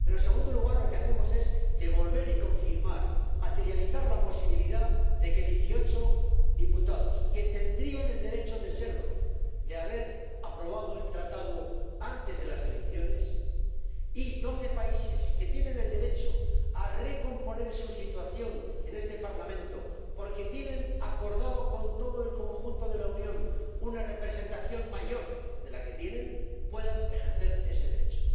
Pero, en segundo lugar, lo que hacemos es devolver y confirmar, materializar la posibilidad de que 18 diputados que tendrían el derecho de serlo de haberse aprobado el Tratado antes de las elecciones y 12 países que tienen el derecho a recomponer su situación en este Parlamento, porque tienen acordado con todo el conjunto de la Unión una representación mayor de la que tienen, puedan ejercer ese derecho.